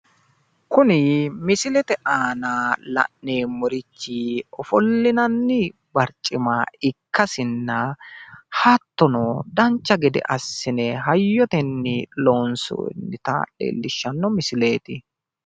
Kuni misilete aana la'neemmorichi offollinanni barcima ikkasinna, hattono dancha gede assine hayyotenni loonssonnita leellishshanno misileeti.